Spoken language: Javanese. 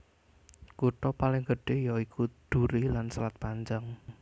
Kutha paling gedhé ya iku Duri lan Selat Panjang